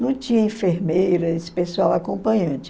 Não tinha enfermeira, esse pessoal acompanhante.